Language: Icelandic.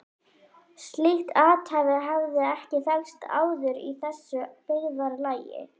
Slíkt athæfi hafði ekki þekkst áður í þessu byggðarlagi.